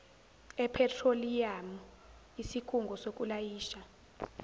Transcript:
ephethroliyamu isikhungo sokulayisha